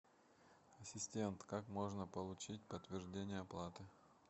ассистент как можно получить подтверждение оплаты